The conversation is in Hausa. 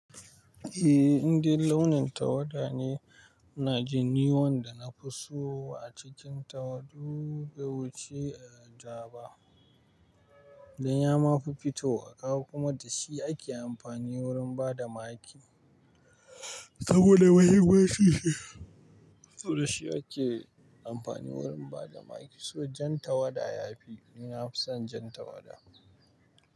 Eh, indai launin tawada ne. Ina ji ni wanda na fi so a cikin tawadu, bai wuci da jaba. Don ya ma fi fito wa kaga kuma da shi ake amfani wurin bada maki. Saboda mahiginsu shi ne, saboda shi ake amfani wurin bada make. So jan tawada ya fi, ni na fi son jan tawada.